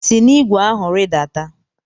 si na ụgbọ ala ahụ rịdata!